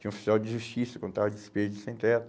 Tinha oficial de justiça, quando estava despedido, sem teto.